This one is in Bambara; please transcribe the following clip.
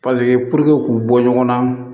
k'u bɔ ɲɔgɔn na